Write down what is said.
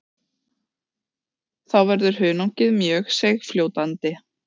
Þá verður hunangið mjög seigfljótandi.